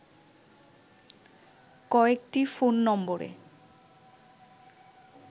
কয়েকটি ফোন নম্বরে